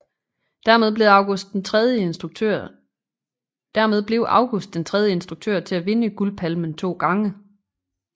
Dermed blev August den tredje instruktør til at vinde Guldpalmen to gange